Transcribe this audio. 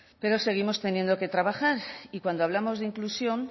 pero seguimos teniendo que trabajar y cuando hablamos de inclusión